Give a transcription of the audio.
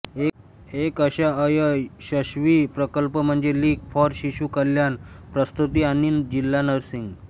एक अशा अयशस्वी प्रकल्प म्हणजे लीग फॉर शिशु कल्याण प्रसूती आणि जिल्हा नर्सिंग